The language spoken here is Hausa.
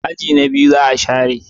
aji na biyu za a share